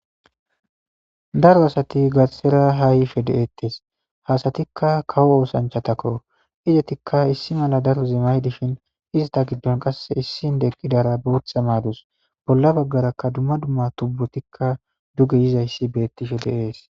daro asati gathxera hahife de7eettes hasatikka kawo oosanchatakko izetikka issi mala daro zimay dishin ista giddon qasse issin deqqidara bootha maadus bolla baggarakka dumma dumma tubbutikka duge yizayssi beettishe de7ees